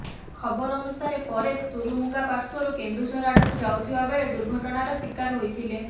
ଖବର ଅନୁସାରେ ପରେଶ ତୁରୁମୁଙ୍ଗା ପାର୍ଶ୍ୱରୁ କେନ୍ଦୁଝର ଆଡ଼କୁ ଯାଉଥିବା ବେଳେ ଦୁର୍ଘଟଣାର ଶିକାର ହୋଇଥିଲେ